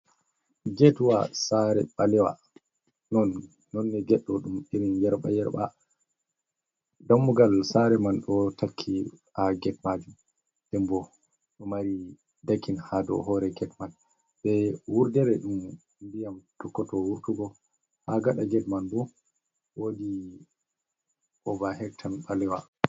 Getwa sare ɓalewa non nonne ged ɗo ɗum irin yerɓa yerɓa, dammugal sare man ɗo takki ha get majum, dem bo ɗo mari dakin ha dou hore get man, be wurdere ɗum ndiyam tokkoto wurtugo ha gaɗa get man ɗo wodi ovahectan ɓalewa.